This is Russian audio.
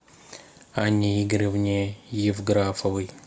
анне игоревне евграфовой